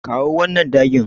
Kawo wannan dagin.